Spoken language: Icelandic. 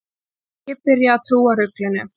Ég byrja að trúa ruglinu.